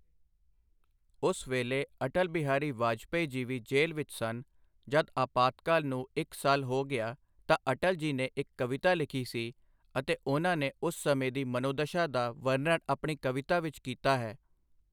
ਉਸ ਵੇਲੇ ਅਟਲ ਬਿਹਾਰੀ ਵਾਜਪੇਈ ਜੀ ਵੀ ਜੇਲ ਵਿੱਚ ਸਨ, ਜਦ ਆਪਾਤਕਾਲ ਨੂੰ ਇੱਕ ਸਾਲ ਹੋ ਗਿਆ ਤਾਂ ਅਟਲ ਜੀ ਨੇ ਇੱਕ ਕਵਿਤਾ ਲਿਖੀ ਸੀ ਅਤੇ ਉਨ੍ਹਾਂ ਨੇ ਉਸ ਸਮੇਂ ਦੀ ਮਨੋਦਸ਼ਾ ਦਾ ਵਰਨਣ ਆਪਣੀ ਕਵਿਤਾ ਵਿੱਚ ਕੀਤਾ ਹੈ